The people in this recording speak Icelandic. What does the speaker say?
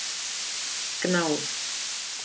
Gná